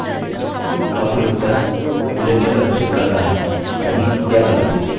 और फिर उत्तर boolean में प्रदर्शित करता हैसही या गलत